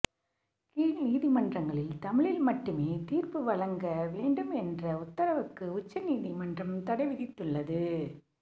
கீழ் நீதிமன்றகளில் தமிழில் மட்டுமே தீர்ப்பு வழங்க வேண்டும் என்ற உத்தரவுக்கு உச்சநீதிமன்றம் தடை விதித்துள்ளது